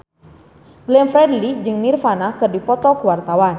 Glenn Fredly jeung Nirvana keur dipoto ku wartawan